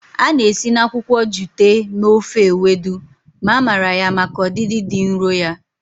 A na-esi na akwụkwọ jute mee ofe Ewedu ma mara ya maka ọdịdị dị nro ya.